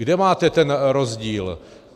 Kde máte ten rozdíl?